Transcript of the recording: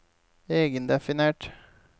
egendefinert